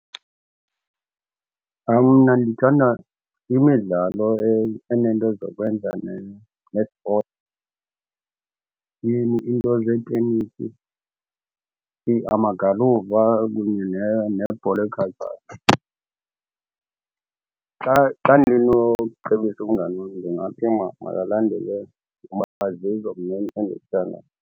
Mna ndithanda imidlalo enento zokwenza ne-sport. Iinto zeetenisi amagalufa kunye nebhola ekhatywayo. Xa xa ndinocebisa umngani wam ndingathi makalandele kuba zizo mna endizithandayo.